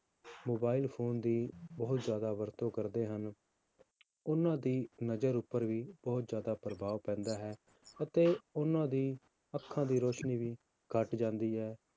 Mobile phone ਦੀ ਬਹੁਤ ਜ਼ਿਆਦਾ ਵਰਤੋਂ ਕਰਦੇ ਹਨ, ਉਹਨਾਂ ਦੀ ਨਜ਼ਰ ਉੱਪਰ ਵੀ ਬਹੁਤ ਜ਼ਿਆਦਾ ਪ੍ਰਭਾਵ ਪੈਂਦਾ ਹੈ, ਅਤੇ ਉਹਨਾਂ ਦੀ ਅੱਖਾਂ ਦੀ ਰੌਸ਼ਨੀ ਵੀ ਘੱਟ ਜਾਂਦੀ ਹੈ